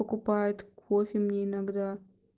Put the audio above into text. покупает кофе мне иногда